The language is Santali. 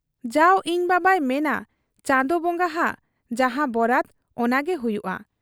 ᱼᱼᱡᱟᱣ ᱤᱧ ᱵᱟᱵᱟᱭ ᱢᱮᱱᱟ ᱪᱟᱸᱫᱚ ᱵᱚᱝᱜᱟ ᱦᱟᱜ ᱡᱟᱦᱟᱸ ᱵᱚᱨᱟᱫᱽ ᱚᱱᱟᱜᱮ ᱦᱩᱭᱩᱜ ᱟ ᱾